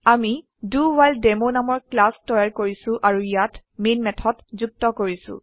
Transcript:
আমি ডাৱহিলেডেমো নামৰ ক্লাস তৈয়াৰ কৰিছো আৰু ইয়াত মেন মেথড যুক্ত কৰো